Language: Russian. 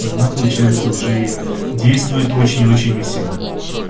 она получается уже действует очень-очень не всегда